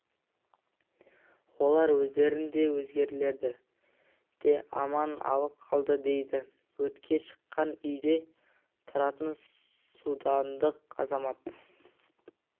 олар өздерін де өзгелерді де аман алып қалды дейді өртке шыққан үйде тұратын судандық азамат